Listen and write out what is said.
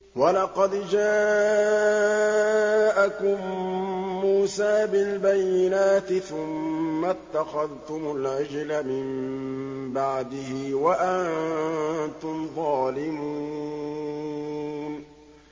۞ وَلَقَدْ جَاءَكُم مُّوسَىٰ بِالْبَيِّنَاتِ ثُمَّ اتَّخَذْتُمُ الْعِجْلَ مِن بَعْدِهِ وَأَنتُمْ ظَالِمُونَ